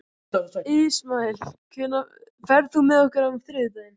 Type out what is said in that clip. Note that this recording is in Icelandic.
Ismael, ferð þú með okkur á þriðjudaginn?